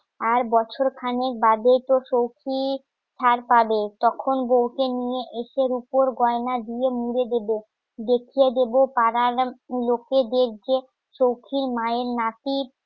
আর বছর খানেক বাদে তো সৌখি ছাড় পাবে তখন বউকে নিয়ে ইটের উপর গয়না দিয়ে মেরে দেবে দেখিয়ে দেবো পাড়ার লোকেদের যে চৌকির মায়ের নাতির